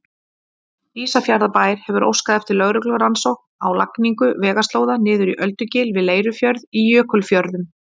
Ísafjarðarbær hefur óskað eftir lögreglurannsókn á lagningu vegaslóða niður í Öldugil við Leirufjörð í Jökulfjörðum.